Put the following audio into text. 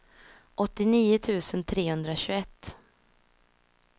åttionio tusen trehundratjugoett